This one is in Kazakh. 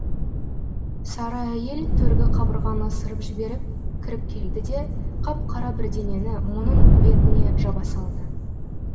сары әйел төргі қабырғаны ысырып жіберіп кіріп келді де қап қара бірдеңені мұның бетіне жаба салды